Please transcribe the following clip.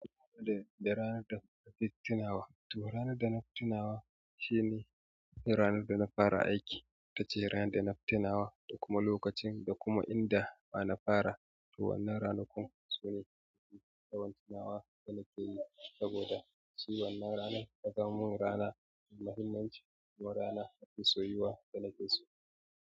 Da, da ranar da na fitina wa, to ranar da na fitina wa shine ranar da na fara aiki, tace ranar da na fitina wa da kuma lokacin da kuma inda na fara. To wannan ranakun sune yawan tunawa da nake yi saboda shi wannan ranar ta zama min rana mai mahimmanci kuma rana mafi soyuwa da nake so.